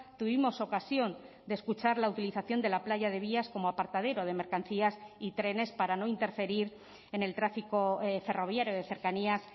tuvimos ocasión de escuchar la utilización de la playa de vías como aparcadero de mercancías y trenes para no interferir en el tráfico ferroviario de cercanías